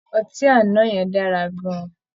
Ọtí àná yẹn dára gan-an